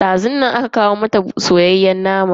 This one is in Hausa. Dazun nan aka kawo mata soyayyen naman kasa.